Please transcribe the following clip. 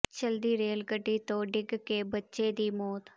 ਚੱਲਦੀ ਰੇਲ ਗੱਡੀ ਤੋਂ ਡਿੱਗ ਕੇ ਬੱਚੇ ਦੀ ਮੌਤ